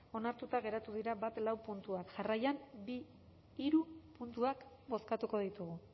onartuta geratu dira bat lau puntuak jarraian bi hiru puntuak bozkatuko ditugu